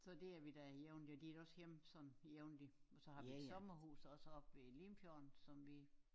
Så der er vi da jævnligt og de er da også hjemme sådan jævnligt og så har vi et sommerhus også oppe ved Limfjorden som vi